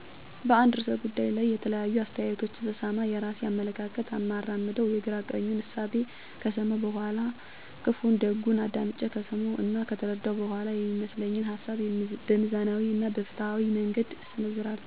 በአንድ ርዕሰ ጉዳይ ላይ የተለያዩ አስተያየቶችን ስሰማ፣ የራሴን አመለካከት እማራምደው የግራ ቀኙን እሳቤ ከሰመው በኋላ፣ ክፋና ደጉን አዳምጨ ከሰመው እና ከተረደው በኋላ፤ የሚመስለኝን ሀሳብ በሚዛናዊ እና በፋትሀዊ መንገድ እሰነዝራለሁ።